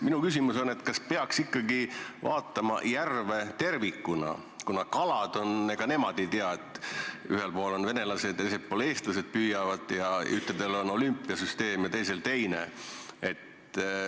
Minu küsimus on, kas peaks ikkagi vaatama järve tervikuna, kuna ega kalad ju ei tea, et ühel pool venelased ja teisel pool püüavad eestlased, ühtedel on olümpiasüsteem ja teistel teine.